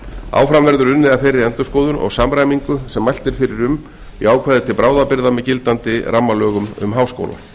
áfram verður unnið að þeirri endurskoðun og samræmingu sem mælt er fyrir um í ákvæði til bráðabirgða með gildandi rammalögum um háskóla